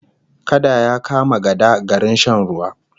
Kada ya kama gada garin shan ruwa